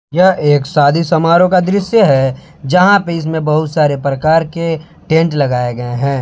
यह एक शादी समारोह का दृश्य है जहां पे इसमें बहुत सारे प्रकार के टेंट लगाए गए हैं।